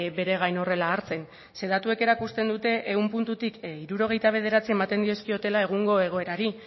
bere gain horrela hartzen zeren datuek erakusten dute ehun puntutik hirurogeita bederatzi ematen dizkiotela egungo egoerari